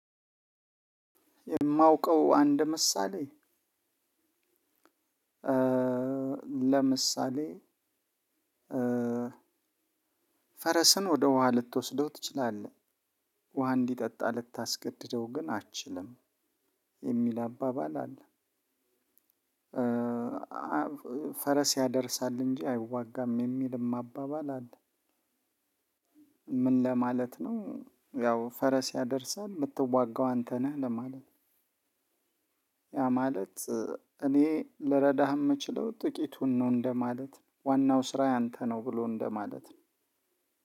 የማውቀው አንድ ምሳሌ ለምሳሌ ፈረስን ወደ ውሃ ልትወስደው ትችላለህ ውሃ እንዲጠጣ ልታስገድደው ግን አትችልም የሚል አባባል አለ። ፈረስ ያደርሳል እንጂ አይዋጋም የሚልም አባባል አለ። ምን ለማለት ነው? ያው ፈረስ ያደርሳል የምትዋጋው አንተ ነህ ለማለት ነው። ያ ማለት እኔ ልረዳህ የምችለው ጥቂቱን ነው እንደማለት ዋናው ስራ ያንተ ነው ብሎ እንደማለት ነው።